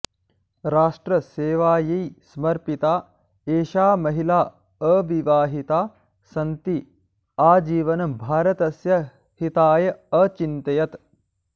राष्ट्रसेवायै समर्पिता एषा महिला अविवाहिता सन्ती आजीवनं भारतस्य हिताय अचिन्तयत्